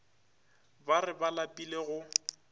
ba re ba lapile go